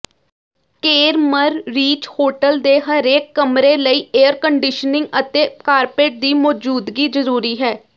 ਕੇਰਮਰ ਰੀਚ ਹੋਟਲ ਦੇ ਹਰੇਕ ਕਮਰੇ ਲਈ ਏਅਰਕੰਡੀਸ਼ਨਿੰਗ ਅਤੇ ਕਾਰਪੇਟ ਦੀ ਮੌਜੂਦਗੀ ਜ਼ਰੂਰੀ ਹੈ